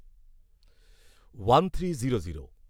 one three zero zero